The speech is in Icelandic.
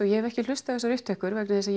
ég hef ekki hlustað á þessar upptökur vegna þess að